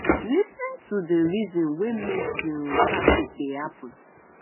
lis ten to the reason wey make di um traffic dey happen